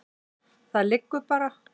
Það liggur bara.